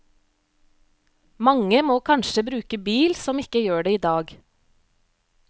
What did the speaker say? Mange må kanskje bruke bil som ikke gjør det i dag.